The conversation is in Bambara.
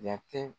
Yati